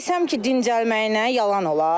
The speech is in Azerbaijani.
Desəm ki, dincəlməyinə yalan olar.